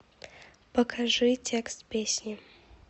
покажи текст песни